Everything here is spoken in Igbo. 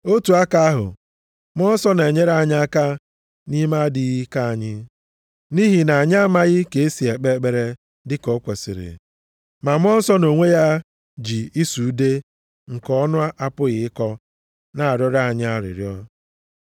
Otu aka ahụ, Mmụọ Nsọ na-enyere anyị aka nʼime adịghị ike anyị. Nʼihi na anyị amaghị ka esi ekpe ekpere dịka o kwesiri. Ma Mmụọ Nsọ nʼonwe ya ji ịsụ ude nke ọnụ apụghị ịkọ na-arịọrọ anyị arịrịọ.